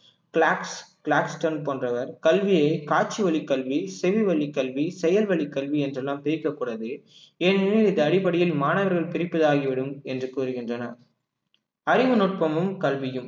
போன்றவர் கல்வியை காட்சி வழி கல்வி செவி வழி கல்வி செயல்வழி கல்வி என்றெல்லாம் பிரிக்கக்கூடாது ஏனெனில் இது அடிப்படையில் மாணவர்கள் பிரிப்பதாகிவிடும் என்று கூறுகின்றனர் அறிவுநுட்பமும் கல்வியும்